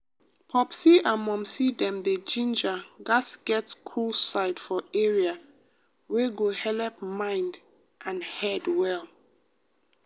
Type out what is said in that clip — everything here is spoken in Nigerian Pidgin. popsi and momsi dem dey ginger gats get cool side for area wey go helep mind and head well.